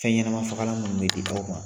Fɛnɲɛnama fagalan minnu bɛ di aw ma